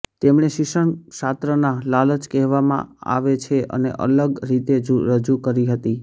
તેમણે શિક્ષણશાસ્ત્રના લાલચ કહેવામાં આવે છે અને અલગ રીતે રજૂ કરી હતી